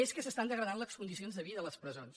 és que s’estan degradant les con·dicions de vida a les presons